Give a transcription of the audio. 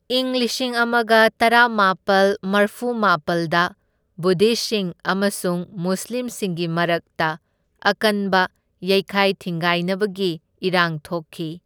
ꯢꯪ ꯂꯤꯁꯤꯡ ꯑꯃꯒ ꯇꯔꯥꯃꯥꯄꯜ ꯃꯔꯐꯨꯃꯥꯄꯜꯗ ꯕꯨꯗꯙꯤꯁꯠꯁꯤꯡ ꯑꯃꯁꯨꯡ ꯃꯨꯁꯂꯤꯝꯁꯤꯡꯒꯤ ꯃꯔꯛꯇ ꯑꯀꯟꯕ ꯌꯩꯈꯥꯏ ꯊꯤꯟꯒꯥꯏꯅꯕꯒꯤ ꯏꯔꯥꯡ ꯊꯣꯛꯈꯤ꯫